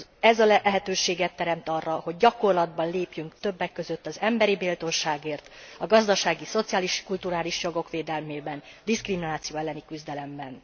Ez lehetőséget teremt arra, hogy gyakorlatban lépjünk többek között az emberi méltóságért, a gazdasági, szociális, kulturális jogok védelmében, diszkrimináció elleni küzdelemben.